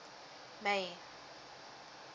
may